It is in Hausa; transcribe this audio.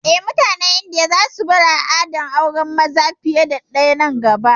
Eh, mutanen Indiya za su bar al'adar auren maza fiye da ɗaya nan gaba